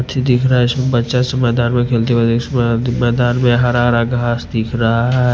ची दिख रहा है इसमें बच्चा में खेलते हुए इसमें में हरा हरा घास दिख रहा है।